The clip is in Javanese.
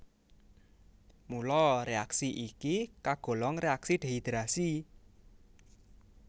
Mula réaksi iki kagolong réaksi dehidrasi